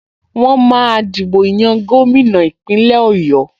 Wọ́n máa dìbò yan gómìnà Ìpínlẹ̀ Ọ̀yọ́